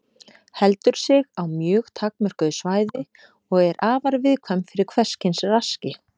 Heldur sig á mjög takmörkuðu svæði og er afar viðkvæm fyrir hvers kyns raski.